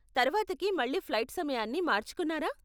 తర్వాతకి మళ్ళీ ఫ్లైట్ సమయాన్ని మార్చుకున్నారా?